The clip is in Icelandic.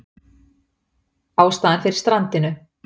Ástæða fyrir strandinu